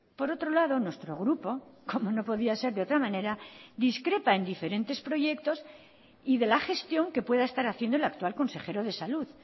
por otro lado nuestro grupo como no podía ser de otra manera discrepa en diferentes proyectos y de la gestión que pueda estar haciendo el actual consejero de salud